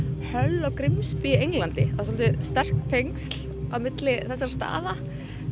Hull og Grimsby í Englandi það eru svolítið sterk tengsl á milli þessara staða